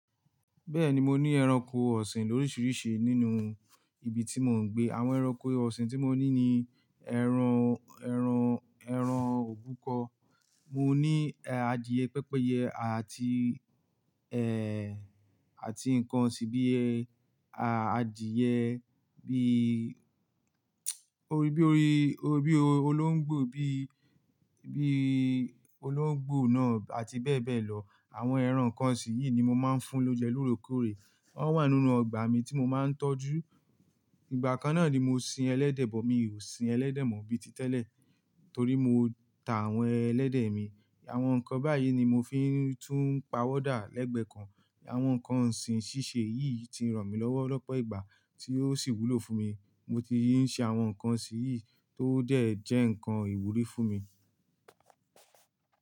Bẹ́ẹ̀ni, mo ní ẹranko ọ̀sìn lorisirisi nínú ibi tí mò ń gbé. Àwọn ẹranko ọ̀sìn tí mo ní ni ẹran, ẹran, ẹran òbúkọ. Mo ní adìẹ, pẹ́pẹ́yẹ àti ẹ àti nkan osìn bí ẹ à adìẹ bí orí bí orí, orí bí olóńgbò bí, bí olóńgbò náà àti bẹ́ẹ̀ bẹ́ẹ̀ lọ. Àwọn ẹran kan sì niyii, emi ni mo máa ń fún l'óunjẹ lóorekóòrè. Wọ́n wà nínú ọgbà mi tí mo máa ń tọ́jú. Ìgbà kan náà ni mo sin ẹlẹ́dẹ̀, but mi ò sin ẹlẹ́dẹ̀ mọ́ bíi ti tẹ́lẹ̀ torí mo ta àwọn ẹlẹ́dẹ̀ mi. Àwọn nkan báyìí ni mo fi ń tún ń pa owọ́ dà lẹ́gbẹ́ kan. Àwọn nǹkan ọ̀sìn ṣíṣe yìí ti ràn mí lọ́wọ́ lọ́pọ̀ ìgbà tí ó sì wúlò fún mi. Mo ti ń ṣin àwọn nkan osìn yìí tó dẹ̀ jẹ́ nkan ìwúrí fún mi.